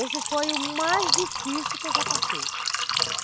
Esse foi o mais difícil que eu já passei.